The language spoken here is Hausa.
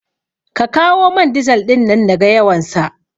Ka kawo man dizal ɗin nan naga yawansa